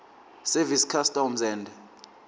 service customs and